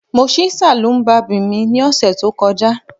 Mo ṣí saloon barbing mi ni ọsẹ to kọja